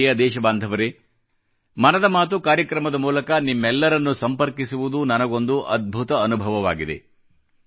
ನನ್ನ ಪ್ರಿಯದೇಶಬಾಂಧವರೇ ಮನದ ಮಾತು ಕಾರ್ಯಕ್ರಮದ ಮೂಲಕ ನಿಮ್ಮೆಲ್ಲರನ್ನು ಸಂಪರ್ಕಿಸುವುದು ನನಗೊಂದು ಅದ್ಭುತ ಅನುಭವವಾಗಿದೆ